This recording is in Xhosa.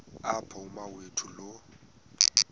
apho umawethu lo